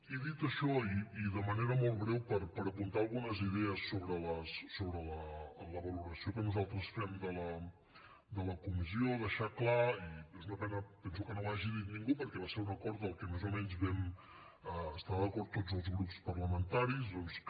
i dit això i de manera molt breu per apuntar algunes idees sobre la valoració que nosaltres fem de la comissió deixar clar i és una pena penso que no ho hagi dit ningú perquè va ser un acord del que més o menys vam estar d’acord tots els grups parlamentaris doncs que